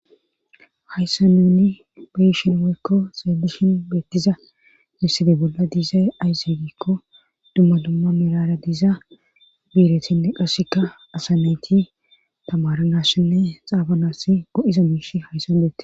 hayssa nuni beshin woykko xeelishin beettiza misside bolla diizay ayse gikko dumma dumma mirara diiza biiretinne qasseka asameyti tamaranashinne xaafanas go7iza miish hayssan beette